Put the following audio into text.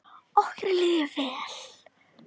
Okkur líður vel.